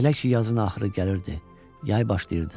Və elə ki yazın axırı gəlirdi, yay başlayırdı.